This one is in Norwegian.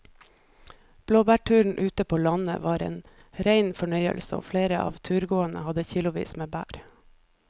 Blåbærturen ute på landet var en rein fornøyelse og flere av turgåerene hadde kilosvis med bær.